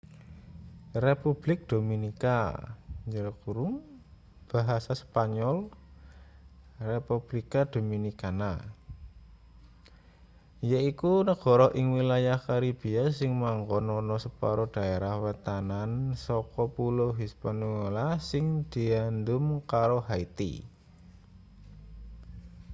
republik dominika basa spanyol; republica dominicana yaiku negara ing wilayah karibia sing manggon ana separo daerah wetanan saka pulo hispaniola sing diandum karo haiti